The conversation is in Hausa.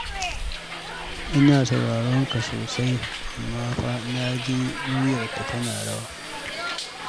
Ina sauraran ka sosai amma fa na ji muryarka tana rawa.